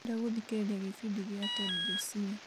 ndĩrenda gũthikĩrĩria gĩbindi gĩa ted josiah